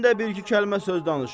Mən də bir-iki kəlmə söz danışım.